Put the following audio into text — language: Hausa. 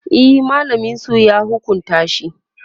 e mallamin su ya hukunta shi